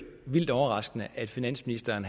vildt overraskende at finansministeren